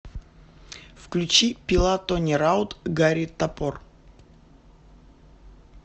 включи пила тони раут гарри топор